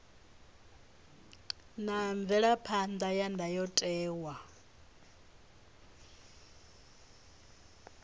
na mvelaphan ḓa ya ndayotewa